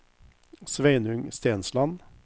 Sveinung Stensland